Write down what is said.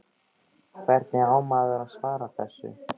Hvernig á maður að svara þessu?